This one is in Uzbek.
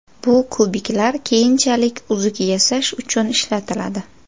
Bu kubiklar keyinchalik uzuk yasash uchun ishlatiladi.